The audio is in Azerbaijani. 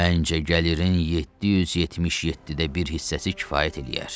Məncə, gəlirin 777də bir hissəsi kifayət eləyər.